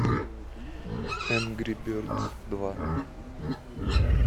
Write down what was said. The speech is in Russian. энгри бердс два